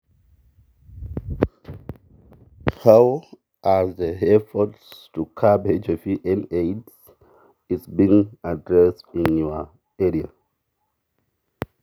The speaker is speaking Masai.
Ama, nyuat naiborieki enkitasuroto emoyian ebitia kaji eikunitae temurua ino?